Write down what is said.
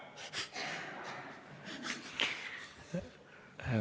Väga!